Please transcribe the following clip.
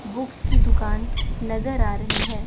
Books की दुकान नजर आ रही है।